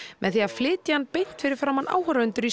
með því að flytja hann beint fyrir framan áhorfendur í